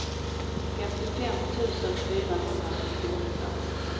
femtiofem tusen fyrahundrasextioåtta